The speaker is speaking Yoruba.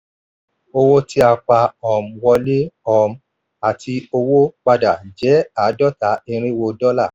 owó tí a pa um wọlé um àti owó padà jẹ́ àádọ́ta irínwó dọ́là.